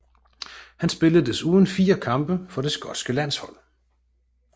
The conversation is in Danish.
Han spillede desuden fire kampe for det skotske landshold